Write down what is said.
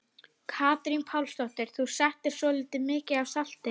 Katrín Pálsdóttir: Þú settir svolítið mikið af salti?